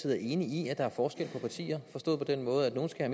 er enig i at der er forskel på partier forstået på den måde at nogle skal